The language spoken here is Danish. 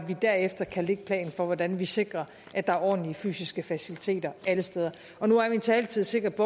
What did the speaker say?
vi derefter kan lægge planen for hvordan vi sikrer at der er ordentlige fysiske faciliteter alle steder nu er min taletid sikkert